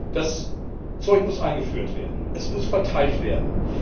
Das Zeug muss eingeführt werden, es muss verteilt werden.